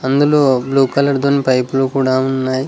అందులో blue colour తోని పైపులు కూడా ఉన్నాయి.